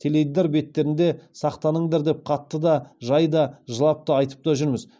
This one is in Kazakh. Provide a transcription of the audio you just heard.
теледидар беттерінде сақтаныңдар деп қатты да жай да жылап та айтып та жүрміз